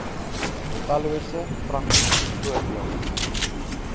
tallose praktiese voorbeelde